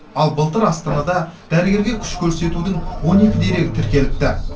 ал былтыр астанада дәрігерге күш көрсетудің он екі дерегі тіркеліпті